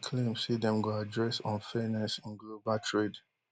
e claim say dem go address unfairness in global trade